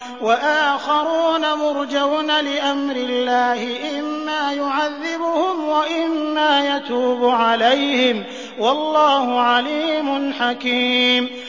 وَآخَرُونَ مُرْجَوْنَ لِأَمْرِ اللَّهِ إِمَّا يُعَذِّبُهُمْ وَإِمَّا يَتُوبُ عَلَيْهِمْ ۗ وَاللَّهُ عَلِيمٌ حَكِيمٌ